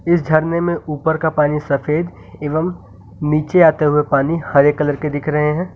इस झरने में ऊपर का पानी सफेद एवं नीचे आते हुए पानी हरे कलर के दिख रहे हैं।